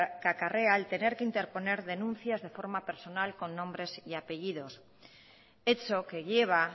acarrea el tener que interponer denuncias de forma personal con nombres y apellidos hecho que lleva